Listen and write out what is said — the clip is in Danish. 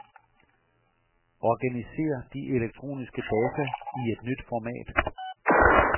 Organiser de elektroniske data i et nyt format.